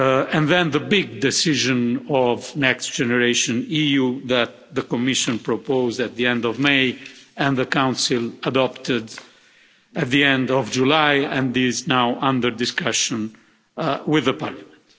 And then the big decision of Next Generation EU that the Commission proposed at the end of May and the Council adopted at the end of July, and is now under discussion with the Parliament.